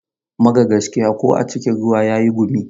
Mara gaskiya ko a cikin ruwa yayi gumi.